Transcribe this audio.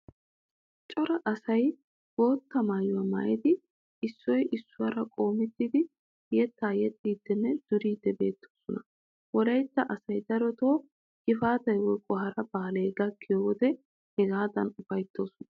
Cora asay bootta maayuwaa maayidi issoy issuwaara qoommettidi yeettaa yexxiiddinne duriiddi beettoosona. Wolaytta asay darotoo gifaatay woykko hara baalay gakkiyo wode hagaadan ufayttoosona.